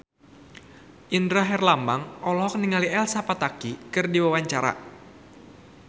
Indra Herlambang olohok ningali Elsa Pataky keur diwawancara